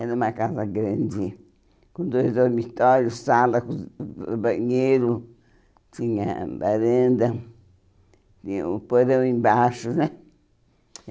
Era uma casa grande, com dois dormitórios, sala, banheiro, tinha varanda, tinha um porão embaixo, né?